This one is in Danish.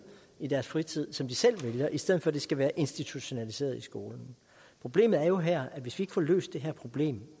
i deres fritid som de selv vælger i stedet for at det skal være institutionaliseret i skolen problemet er jo her at hvis vi ikke får løst det her problem